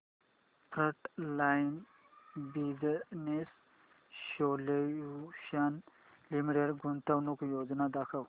frontline business solutions limited गुंतवणूक योजना दाखव